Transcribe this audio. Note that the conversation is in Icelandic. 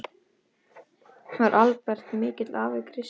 Var Albert mikill afi, Krissa?